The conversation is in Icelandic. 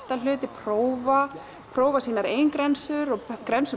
prófa prófa sínar eigin grensur og